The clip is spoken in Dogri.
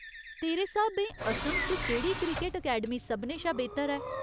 तेरे स्हाबें असम च केह्‌‌ड़ी क्रिकट अकैडमी सभनें शा बेह्‌तर ऐ ?